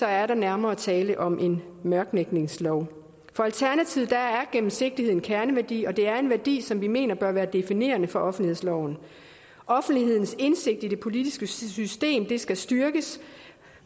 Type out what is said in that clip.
er der nærmere tale om en mørklægningslov for alternativet er gennemsigtighed en kerneværdi og det er en værdi som vi mener bør være definerende for offentlighedsloven offentlighedens indsigt i det politiske system skal styrkes